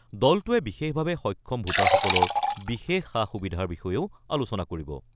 দলটোৱে বিশেষভাৱে সক্ষম ভোটাৰসকলৰ বিশেষ সা-সুবিধাৰ বিষয়েও আলোচনা কৰিব।